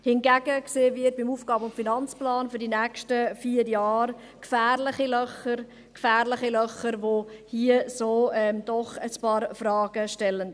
Hingegen sehen wir beim AFP für die nächsten vier Jahre gefährliche Löcher, die doch ein paar Fragen aufwerfen.